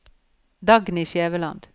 Dagny Skjæveland